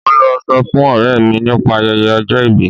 Mo lọ sọ fún ọ̀rẹ́ mi nípa ayẹyẹ ọjọ ìbí.